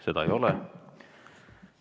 Seda ei ole.